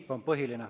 See on põhiline.